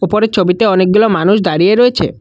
উপরের ছবিতে অনেকগুলো মানুষ দাঁড়িয়ে রয়েছে।